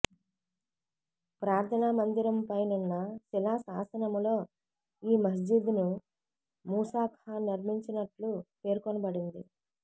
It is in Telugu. ప్రార్థనా మందిరము పై నున్న శిలా శాసనములో ఈ మస్జిద్ ను మూసా ఖాన్ నిర్మించినట్లు పేర్కొనబడినది